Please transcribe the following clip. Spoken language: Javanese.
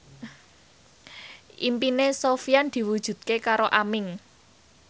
impine Sofyan diwujudke karo Aming